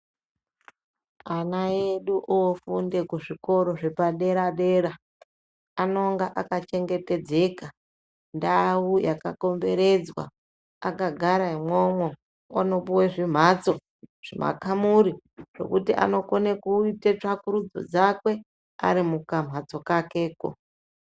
Ana edu ofunda kuzvikora zvepadera dera anonga akachengetwdzeka ndau yakakomberedzwa akagara imwomwo otopuwa chimbatso zvimakamuri zvekuti anokona kuita tsvakurudzo dzake Ari mukambatsk kakeko.